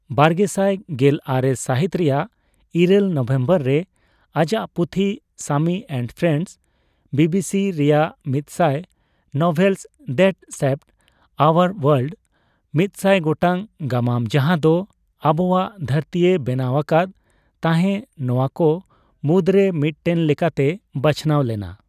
ᱵᱟᱨᱜᱮᱥᱟᱭ ᱜᱮᱞ ᱟᱨᱮ ᱥᱟᱹᱦᱤᱛ ᱨᱮᱭᱟᱜ ᱤᱨᱟᱹᱞ ᱱᱚᱵᱷᱮᱢᱵᱚᱨ ᱨᱮ ᱟᱡᱟᱜ ᱯᱩᱛᱷᱤ 'ᱥᱟᱢᱤ ᱮᱸᱱᱰ ᱯᱷᱨᱮᱸᱱᱰᱥ' ᱵᱤᱵᱤᱥᱤ ᱨᱮᱭᱟᱜ ' ᱢᱤᱛᱥᱟᱭ novels that shaped our world' ᱢᱤᱛᱥᱟᱭ ᱜᱚᱴᱟᱝ ᱜᱟᱢᱟᱢ ᱡᱟᱸᱦᱟ ᱫᱚ ᱟᱵᱚᱣᱟᱜ ᱫᱷᱟᱹᱨᱛᱤᱭ ᱵᱮᱱᱟᱣ ᱟᱠᱟᱫ ᱛᱟᱸᱦᱮ ᱼ ᱱᱚᱣᱟ ᱠᱚ ᱢᱩᱫᱽᱨᱮ ᱢᱤᱫᱴᱮᱱ ᱞᱮᱠᱟᱛᱮ ᱵᱟᱪᱷᱱᱟᱣ ᱞᱮᱱᱟ ᱾